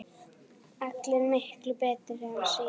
Allar miklu betri en síðast!